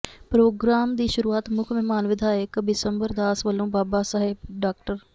programme ਦੀ ਸ਼ੁਰੂਆਤ ਮੁੱਖ ਮਹਿਮਾਨ ਵਿਧਾਇਕ ਬਿਸ਼ੰਬਰ ਦਾਸ ਵੱਲੋਂ ਬਾਬਾ ਸਾਹਿਬ ਡਾ